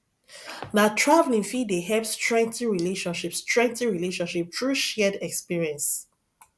na traveling fit dey help strengthen relationship strengthen relationship through shared experience